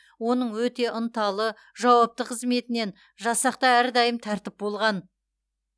оның өте ынталы жауапты қызметінен жасақта әрдайым тәртіп болған